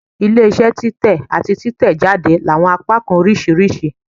Ile-iṣẹ titẹ ati titẹjade ni awọn apakan oriṣiriṣi